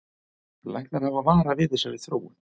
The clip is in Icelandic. Læknar hafa varað við þessari þróun